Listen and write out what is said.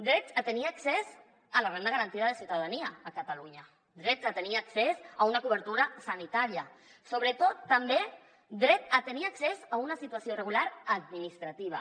drets a tenir accés a la renda garantida de ciutadania a catalunya drets a tenir accés a una cobertura sanitària sobretot també dret a tenir accés a una situació regular administrativa